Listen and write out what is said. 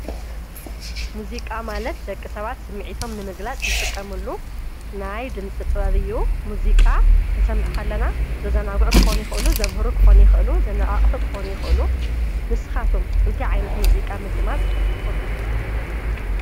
ሙዚቃ ማለት ደቂ ሰባት ስሚዒቶም ንምግላጽ ዝጥቀሙሉ ናይ ድምፂ ጥበቢዩ ሙዚቃ ኽንሰምዕኻለና ዘዘናጕዕ ክኾኒ ኽእሉ ዘምህሩ ክኾኒ ኽእሉ ዘነኣእሑ ክኾኑ ይኽእሉ ንስኻቶም እንቲ ዓይነት ሙዚቃ ምድማጽ ትፈቱ።